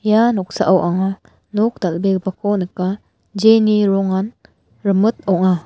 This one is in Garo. ia noksao anga nok dal·begipako nika jeni rongan rimit ong·a.